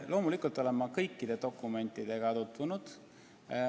Loomulikult olen ma kõikide dokumentidega tutvunud.